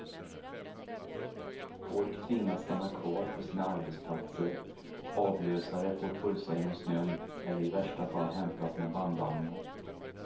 Folk tvingas stanna kvar på sina arbetsplatser, avlösare får pulsa genom snön eller i värsta fall hämtas med bandvagnar.